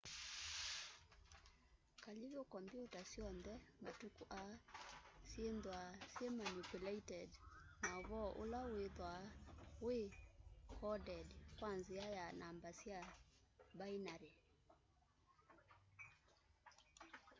kalivu kombyuta syoonthe matuku aa syithwaa syimanipuleted na uvoo ula withwaa wi coded kwa nzia ya namba sya binary